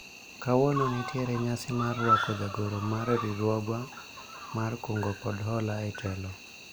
kawuono nitiere nyasi mar rwako jagoro mar riwruogwa mar kungo kod hola e telo